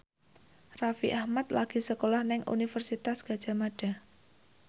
Raffi Ahmad lagi sekolah nang Universitas Gadjah Mada